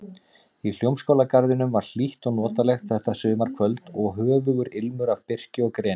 Í Hljómskálagarðinum var hlýtt og notalegt þetta sumarkvöld og höfugur ilmur af birki og greni.